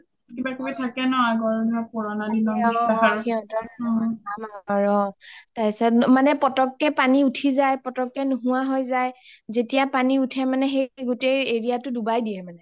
কিবা কিবি থাকে ন আগৰ পুৰণা দিনৰ বিশ্বাস আৰু অ মানে পতক কে পানী ওঠি যাই পতক কে নোহোৱা হৈ যাই যেতিয়া পানী ওঠে মানে গোতেই area টো দোৱাই দিয়ে মানে